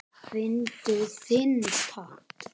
Fyndu þinn takt